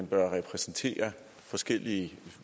bør repræsentere forskellige